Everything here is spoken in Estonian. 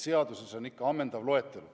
Seaduses on kirjas ikka ammendav loetelu.